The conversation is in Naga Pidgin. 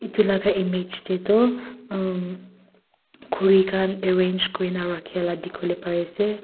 itu laga image teh tu ahm khuri khan arrange kurina thakala dikhiwoleh pariase.